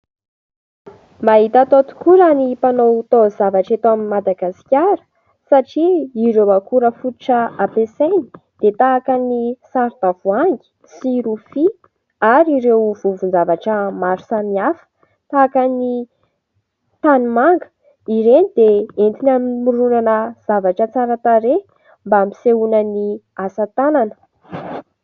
Mahita atao tokoa raha ny mpanao taozavatra eto Madagasikara satria ireo akora fototra ampiasainy dia tahaka ny saron-tavoahangy sy rofia ary ireo vovon-javatra maro samihafa tahaka ny tanimanga. Ireny dia entiny hamoronana zavatra tsara tarehy mba hampisehoana ny asa tanana.